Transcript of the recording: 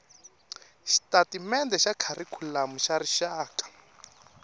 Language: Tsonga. xitatimendhe xa kharikhulamu xa rixaka